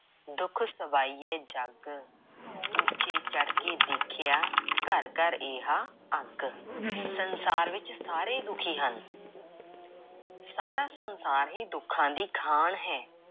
ਦੁਖ ਸਬਾਇਐ ਜਗੁ।। ਉਚੇ ਚੜ੍ਹ ਕੇ ਦੇਖਿਆ ਘਰਿ ਘਰਿ ਏਹਾ ਆਗੂ।। ਸੰਸਾਰ ਵਿੱਚ ਸਾਰੇ ਦੁਖੀ ਹਨ। ਸਾਰਾ ਸੰਸਾਰ ਹੀ ਦੁੱਖਾਂ ਦੀ ਖਾਣ ਹੈ।